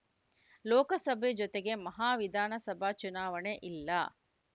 ಲೋಕಸಭೆ ಜೊತೆಗೇ ಮಹಾ ವಿಧಾನಸಭಾ ಚುನಾವಣೆ ಇಲ್ಲ